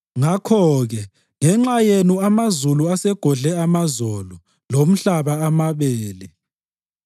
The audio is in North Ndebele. Ngakho-ke, ngenxa yenu amazulu asegodle amazolo lomhlaba amabele.